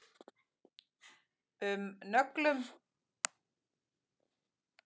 um nöglum.